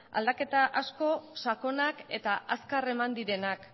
aldaketa asko sakonak eta azkar eman direnak